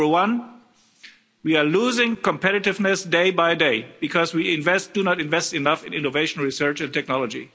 Number one, we are losing competitiveness day by day because we do not invest enough in innovation, research and technology.